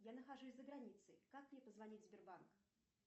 я нахожусь за границей как мне позвонить в сбербанк